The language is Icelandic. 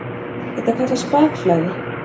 Þetta kallast bakflæði.